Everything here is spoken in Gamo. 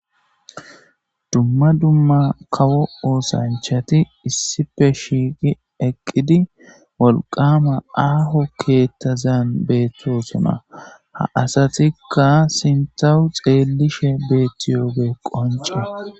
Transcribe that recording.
dumma dumma kawo oosanchati issipe shiiqi eqqidi wolqama aaho keettazan beettoosoma ha asatikka sintawu xeellishe beettiyooge qonce